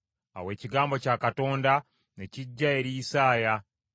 Awo Ekigambo kya Katonda ne kijja eri Isaaya,